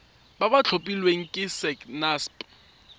ba ba tlhophilweng ke sacnasp